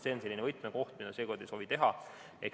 See on selline võtmekoht, seda me seekord ei soovi teha.